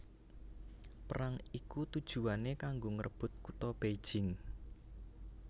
Perang iki tujuwané kanggo ngrebut kutha Beijing